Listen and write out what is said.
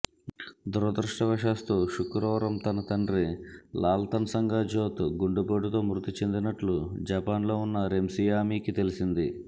దురదృష్టవశాత్తు శుక్రవారం తన తండ్రి లాల్తన్సంగా జోత్ గుండెపోటుతో మృతి చెందినట్లు జపాన్లో ఉన్న రెమ్సియామీకి తెలిసింది